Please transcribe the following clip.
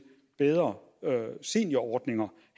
bedre seniorordninger